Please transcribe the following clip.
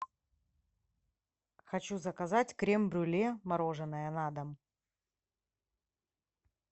хочу заказать крем брюле мороженое на дом